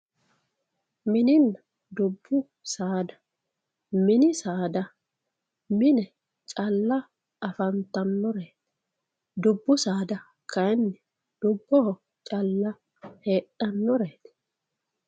Mininna dubbu saada mini saada mine calla afantannore dubbu saada kayinni dubboho calla heedhannoreeti